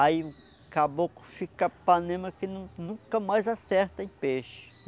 Aí acabou que fica panema que nunca mais acerta em peixe.